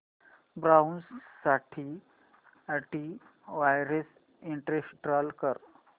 browser साठी anti virus install कर